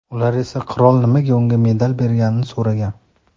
Ular esa qirol nimaga unga medal berganini so‘ragan.